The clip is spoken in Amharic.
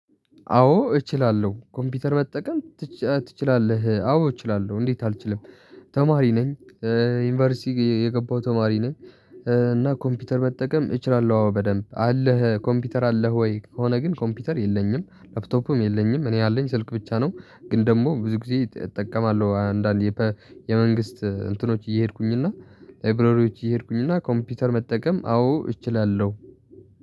አዎ እችላለሁ ኮምፒውተር መጠቀም ትችላለህ አዎ እችላለሁ እንዴት አልችልም? ተማሪ ነኝ። ዩኒቨርሲቲ የገባው ተማሪ ነኝ። እና ኮምፒውተር መጠቀም እችላለሁ አዎ በደንብ አለህ ኮምፒውተር አለህ ወይ? ከሆነ ግን ኮምፒውተር የለኝም ላፕቶፕም የለኝም እኔ አለኝ ስልክ ብቻ ነው። ግን ደግሞ ብዙ ጊዜ እጠቀማለሁ አንዳንዴ። የመንግስት እንትኖች እየሄድኩኝ እና ላይብረሪዎች እየሄድኩኝ እና ኮምፒውተር መጠቀም አዎ እችላለሁ።